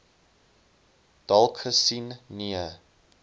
dalk gesien nee